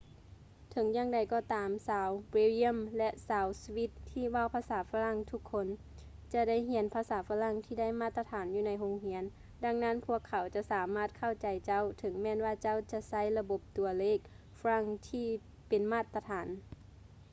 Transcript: ເຖິງຢ່າງໃດກໍຕາມ ຊາວເບວຢ້ຽມ ແລະ ຊາວສະວິດ ທີ່ເວົ້າພາສາຝຼັ່ງທຸກຄົນ ຈະໄດ້ຮຽນພາສາຝຼັ່ງທີ່ໄດ້ມາດຕະຖານຢູ່ໃນໂຮງຮຽນ ດັ່ງນັ້ນພວກເຂົາຈະສາມາດເຂົ້າໃຈເຈົ້າ ເຖິງແມ່ນວ່າເຈົ້າຈະໃຊ້ລະບົບຕົວເລກຝຼັ່ງທີ່ເປັນມາດຕະຖານ